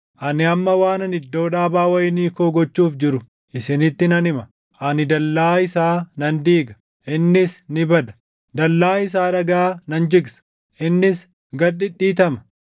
Ani amma waanan iddoo dhaabaa wayinii koo gochuuf jiru isinitti nan hima; ani dallaa isaa nan diiga; innis ni bada; dallaa isaa dhagaa nan jigsa; innis gad dhidhiitama.